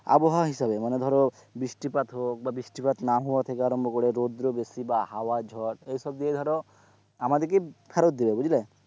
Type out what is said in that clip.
আবহাওয়া হিসেবে মানে ধরো বৃষ্টিপাত হোক বৃষ্টিপাত না হওয়া থেকে আরম্ভ করে রোদ্র বেশি বা হওয়া ঝড় এসব দিয়ে ধরো আমাদেরকে ফেরত দেবে বুঝলে,